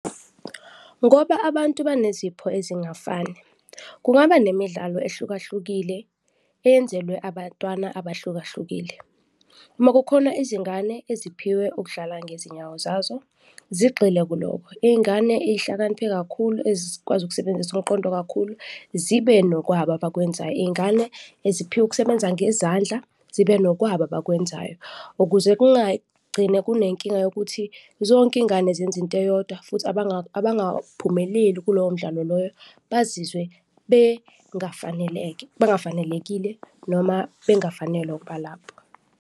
Ngoba abantu banezipho ezingafani, kungaba nemidlalo ehlukahlukile eyenzelwe abantwana abahlukahlukile. Uma kukhona izingane eziphiwe ukudlala ngezinyawo zazo, zigxile kulokho, izingane ezihlakaniphe kakhulu ezikwazi ukusebenzisa umqondo kakhulu zibe nokwabo abakwenzayo. Izingane eziphiwe ukusebenza ngezandla zibe nokwabo abakwenzayo ukuze kungagcine kunenkinga yokuthi zonke izingane zenza into eyodwa futhi abangaphumeleli kulowo mdlalo loyo bazizwe bengafanelekile noma bengafanelwe ukuba lapho.